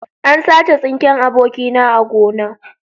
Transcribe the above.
An sace tsinken abokina a gona